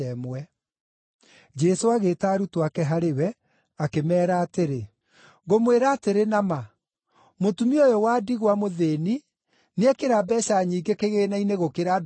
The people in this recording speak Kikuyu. Jesũ agĩĩta arutwo ake harĩ we, akĩmeera atĩrĩ, “Ngũmwĩra atĩrĩ na ma, mũtumia ũyũ wa ndigwa mũthĩĩni nĩekĩra mbeeca nyingĩ kĩgĩĩna-inĩ gũkĩra andũ arĩa angĩ othe.